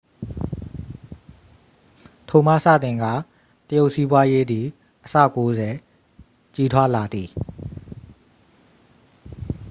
ထိုမှစတင်ကာ တရုတ်စီးပွားရေးသည်အဆ 90 ကြီးထွားလာသည်